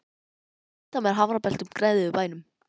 Háir tindar með hamrabeltum gnæfðu yfir bænum.